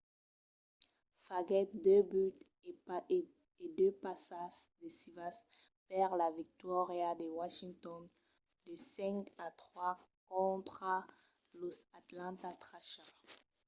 faguèt 2 buts e 2 passas decisivas per la victòria de washington de 5-3 contra los atlanta thrashers